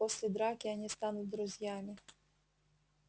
после драки они станут друзьями